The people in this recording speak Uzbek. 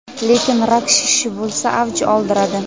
lekin rak shishi bo‘lsa avj oldiradi.